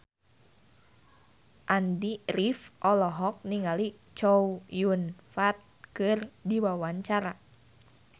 Andy rif olohok ningali Chow Yun Fat keur diwawancara